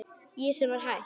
Ég sem var hætt.